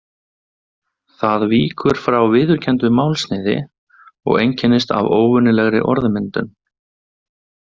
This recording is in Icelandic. Það víkur frá viðurkenndu málsniði og einkennist af óvenjulegri orðmyndun.